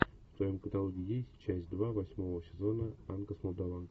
в твоем каталоге есть часть два восьмого сезона анка с молдованки